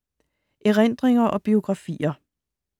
Erindringer og biografier